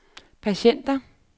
patienter